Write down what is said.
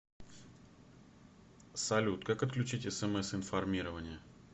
салют как отключить смс информирование